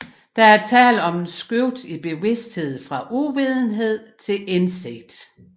Der er tale om et skift i bevidsthed fra uvidenhed til indsigt